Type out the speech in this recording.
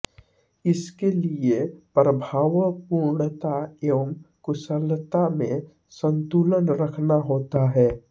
इसके लिए प्रभावपूर्णता एवं कुशलता में संतुलन रखना होता है